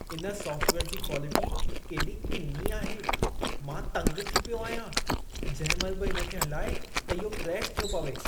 इन सॉफ़्टवेयर जी क्वालिटी केॾी किनी आहे। मां तंग थी पियो आहियां। जंहिं महिल बि इन खे हलाए त इहो क्रैश थियो पवे।